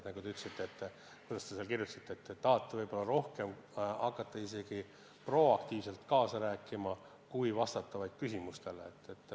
Nagu te seal kirjutasite, te tahate rohkem hakata ka proaktiivselt kaasa rääkima, mitte ainult vastata küsimustele.